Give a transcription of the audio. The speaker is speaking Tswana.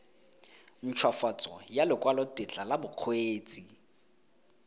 nthwafatso ya lekwalotetla la bokgweetsi